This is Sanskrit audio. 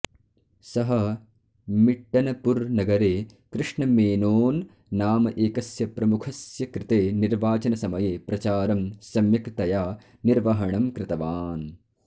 सः मिट्नपूर् नगरे कृष्णमेनोन् नाम एकस्य प्रमुखस्यकृते निर्वाचनसमये प्रचारम् सम्यक् तया निर्वहणम् कृतवान्